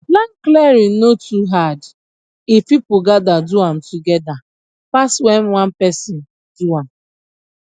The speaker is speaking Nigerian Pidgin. land clearing no too hard if people gather do am together pass when one person do am